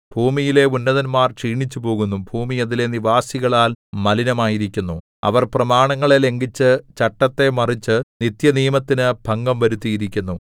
ഭൂമിയിലെ ഉന്നതന്മാർ ക്ഷീണിച്ചുപോകുന്നു ഭൂമി അതിലെ നിവാസികളാൽ മലിനമായിരിക്കുന്നു അവർ പ്രമാണങ്ങളെ ലംഘിച്ചു ചട്ടത്തെ മറിച്ചു നിത്യനിയമത്തിനു ഭംഗം വരുത്തിയിരിക്കുന്നു